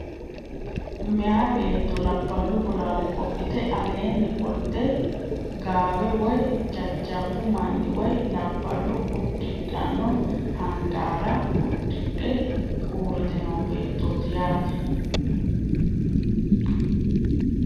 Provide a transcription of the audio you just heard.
Meeya beetto labballu bolaale qodhite aleenni qolte gaawe woy jajjabbu manni woy labballu uddidhanno handaara uddidhe uurrite noo beettooti yaate.